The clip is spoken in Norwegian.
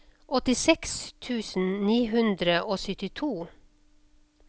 åttiseks tusen ni hundre og syttito